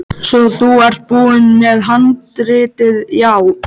Svo þú ert búinn með handritið, já.